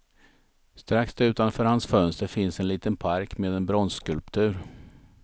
Strax utanför hans fönster finns en liten park med en bronsskulptur.